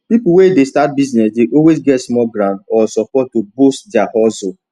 people wey dey start business dey always get small grant or support to boost their hustle